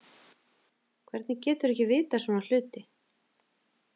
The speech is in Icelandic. Hvernig geturðu ekki vitað svona hluti?